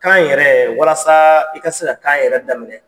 Kan yɛrɛ walasa i ka se ka kan yɛrɛ daminɛ